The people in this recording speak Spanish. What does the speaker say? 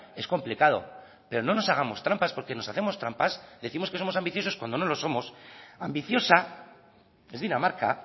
es complicado pero no nos hagamos trampas porque nos hacemos trampas décimos que somos ambiciosos cuando no lo somos ambiciosa es dinamarca